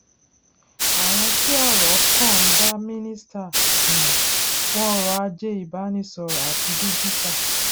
àwọn tí ọrọ kàn ń dá mínísítà um fún ọrọ ajé ìbánisọrọ àti dígítà